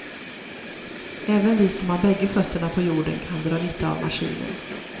Även vi som har bägge fötterna på jorden kan dra nytta av maskinen.